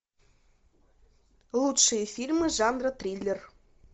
лучшие фильмы жанра триллер